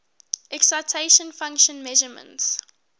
excitation function measurements